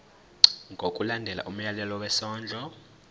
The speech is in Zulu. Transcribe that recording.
ngokulandela umyalelo wesondlo